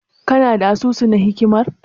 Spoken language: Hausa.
Kana da asusu na hikimar?